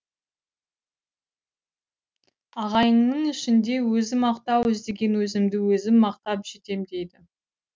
ағайынның ішінде өзі мақтау іздеген өзімді өзім мақтап жетем дейді